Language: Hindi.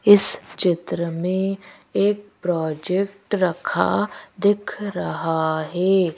इस चित्र में एक प्रोजेक्ट रखा दिख रहा है।